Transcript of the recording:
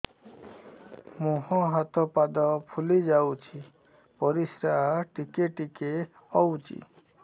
ମୁହଁ ହାତ ପାଦ ଫୁଲି ଯାଉଛି ପରିସ୍ରା ଟିକେ ଟିକେ ହଉଛି